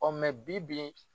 O mɛ bi bi